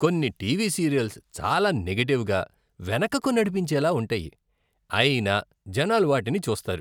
కొన్ని TV serials చాలా నెగటివ్గా, వెనుకకు నడిపించేలా ఉంటాయి, అయినా జనాలు వాటిని చూస్తారు.